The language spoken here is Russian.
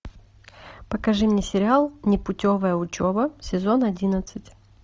покажи мне сериал непутевая учеба сезон одиннадцать